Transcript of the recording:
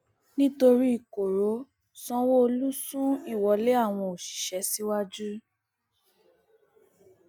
nítorí koro sanwóolu sún ìwọlé àwọn òṣìṣẹ síwájú